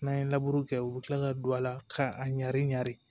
N'an ye laburu kɛ u bi kila ka don a la ka a ɲari ɲin